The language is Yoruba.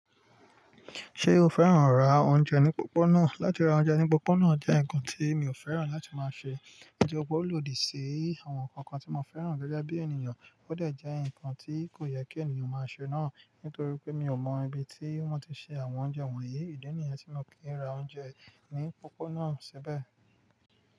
Ṣé o fẹ́ràn rá oúnjẹ ní opópóná? Látí ra oúnjẹ ní opópóná jẹ́ nnkan tí mi ò fẹ́ràn láti máa ṣe. Nitoripe ólòdi ṣí àwọn nkankan tí mo fẹ́ràn gẹ́gẹ́ bí ènìyàn, ó dé jẹ́ ǹkan tí kò yẹ kí ènìyàn máa ṣe náà. Nítorí pé mi ò mọ ibi tí wọ́n ti ṣe àwọn oúnjẹ wọ̀nyí. Ìdí nìyẹn tí mio kii ra oúnjẹ ní opópóná síbẹ̀.